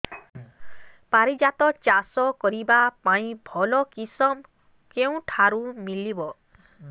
ପାରିଜାତ ଚାଷ କରିବା ପାଇଁ ଭଲ କିଶମ କେଉଁଠାରୁ ମିଳିବ